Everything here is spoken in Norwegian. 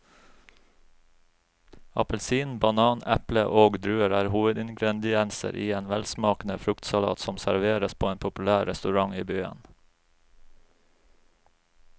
Appelsin, banan, eple og druer er hovedingredienser i en velsmakende fruktsalat som serveres på en populær restaurant i byen.